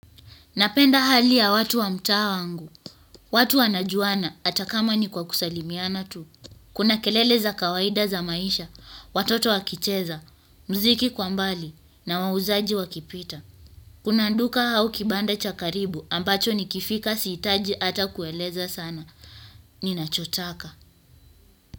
Napenda hali ya watu wa mtaa wangu, watu wanajuana hata kama ni kwa kusalimiana tu. Kuna kelele za kawaida za maisha, watoto wakicheza, muziki kwa mbali na wauzaji wakipita. Kuna duka au kibanda cha karibu ambacho nikifika sihitaji hata kueleza sana. Ninachotaka.